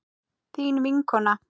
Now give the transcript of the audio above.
Þín vinkona